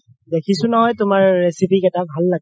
দেখিছো নহয় তুমাৰ recipe কেইটা ভাল লাগে